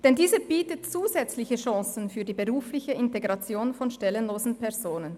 Der Inländervorrang bietet zusätzliche Chancen für die berufliche Integration von stellenlosen Personen.